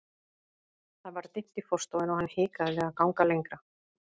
Það var dimmt í forstofunni og hann hikaði við að ganga lengra.